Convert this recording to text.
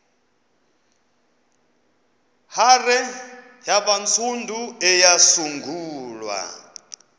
hare yabantsundu eyasungulwa